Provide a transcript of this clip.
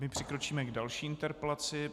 My přikročíme k další interpelaci.